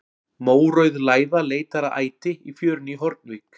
Mórauð læða leitar að æti í fjörunni í Hornvík.